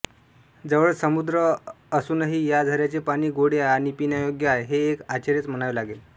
जवळच समुद्र असूनही या झऱ्याचे पाणी गोडे आणि पिण्यायोग्य आहे हे एक आश्चर्यच म्हणावे लागेल